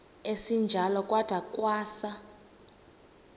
esinjalo kwada kwasa